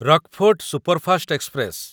Rockfort superfast express